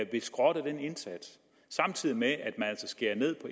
vil skrotte den indsats samtidig med at man altså skærer ned på